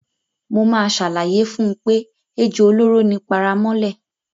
Mo máa ṣàlàyé fún un pé ejò olóró ni paramọ́lẹ̀.